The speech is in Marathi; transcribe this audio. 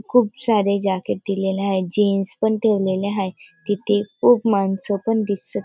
खूप सारे जॅकेट दिलेले आहे जीन्स पण ठेवलेले हाय तिथे खूप माणस पण दिसत --